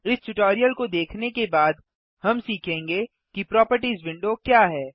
इस ट्यूटोरियल को देखने के बाद हम सीखेंगे कि प्रोपर्टिज विंडो क्या है